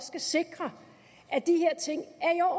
skal sikre at de her ting er